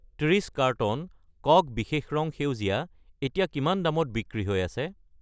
30 carton Coke বিশেষ ৰং সেউজীয়া এতিয়া কিমান দামত বিক্ৰী হৈ আছে?